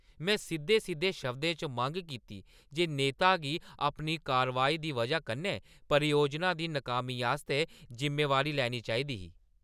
में सिद्धे-सिद्धे शब्दें च मंग कीती जे नेता गी अपनी कारवाई दी व’जा कन्नै परियोजना दी नकामी आस्तै जुम्मेवारी लैनी चाही दी ही ।